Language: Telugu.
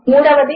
మూడవది